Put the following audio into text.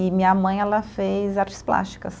E minha mãe, ela fez artes plásticas.